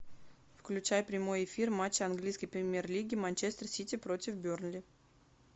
включай прямой эфир матча английской премьер лиги манчестер сити против бернли